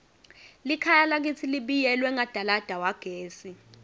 likhaya lakitsi libiyelwe ngadalada wagesi